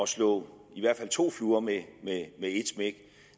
slå i hvert fald to fluer med et smæk